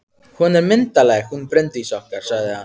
Hún er myndarleg, hún Bryndís okkar, sagði hann.